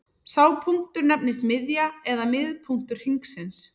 Sá punktur nefnist miðja eða miðpunktur hringsins.